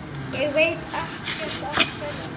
Ég veit ekkert af hverju.